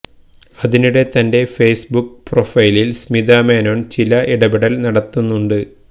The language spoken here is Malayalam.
അതിനിടെ തന്റെ ഫെയ്സ് ബുക്ക് പ്രൊഫൈലിൽ സ്മിതാ മേനോൻ ചില ഇടപെടൽ നടത്തുന്നുണ്ട്